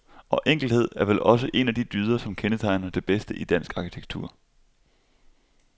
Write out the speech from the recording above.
Og enkelhed er vel også en af de dyder som kendetegner det bedste i dansk arkitektur.